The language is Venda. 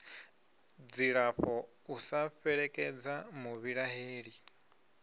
dzilafho u sa fhelekedza muvhilaheli